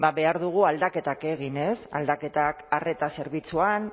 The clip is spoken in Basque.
ba behar dugu aldaketak egin ez aldaketak arreta zerbitzuan